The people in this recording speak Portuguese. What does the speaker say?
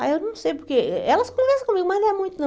Ah, eu não sei porque... Elas conversam comigo, mas não é muito, não.